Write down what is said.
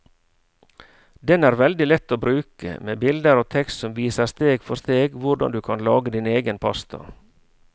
Den er veldig lett å bruke, med bilder og tekst som viser steg for steg hvordan du kan lage din egen pasta.